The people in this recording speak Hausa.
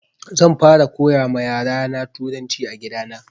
Zan fara koya ma yara na turanci a gida na